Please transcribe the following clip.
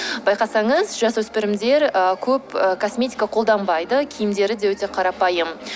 байқасаңыз жасөспірімдер ы көп ы косметика қолданбайды киімдері де өте қарапайым